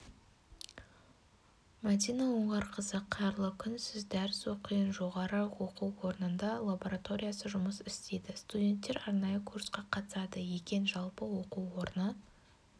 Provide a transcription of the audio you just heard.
мәдина оңғарқызы қайырлы күн сіз дәріс оқиын жоғары оқу орнында лабораториясы жұмыс істейді студенттер арнайы курсқа қатысады екен жалпы оқу орны